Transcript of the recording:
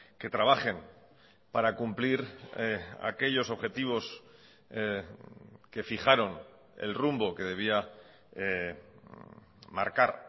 que trabajen para cumplir aquellos objetivos que fijaron el rumbo que debía marcar